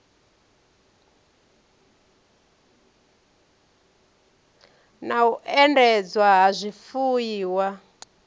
na u endedzwa ha zwifuiwa